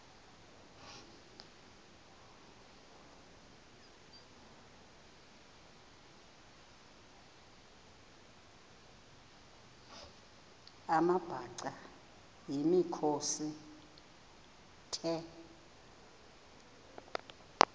amabhaca yimikhosi the